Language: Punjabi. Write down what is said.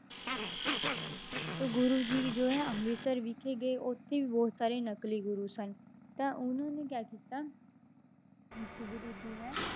ਤਾਂ ਗੁਰੂ ਜੀ ਵੀ ਜੋ ਹੈ ਅੰਮ੍ਰਿਤਸਰ ਵਿਖੇ ਗਏ ਉੱਥੇ ਵੀ ਬਹੁਤ ਸਾਰੇ ਨਕਲੀ ਗੁਰੂ ਸਨ, ਤਾਂ ਉਹਨਾਂ ਨੇ ਕਿਆ ਕੀਤਾ ਇੱਕ ਗੁਰੂ ਜੀ ਹੈ